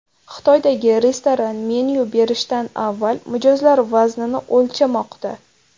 Xitoydagi restoran menyu berishdan avval mijozlar vaznini o‘lchamoqda.